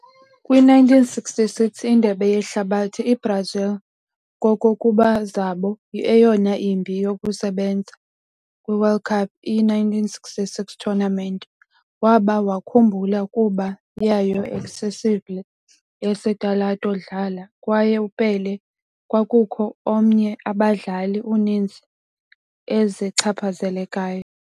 Kwi - 1966 Indebe Yehlabathi, i-Brazil kokuba zabo eyona imbi yokusebenza kwi World Cup. I-1966 tournament waba wakhumbula kuba yayo excessively yesitalato dlala, kwaye Pelé kwakukho omnye abadlali uninzi ezichaphazelekayo.